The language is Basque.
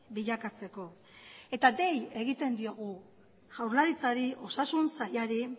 bilakatzeko eta dei egiten diogu jaurlaritzari osasun sailari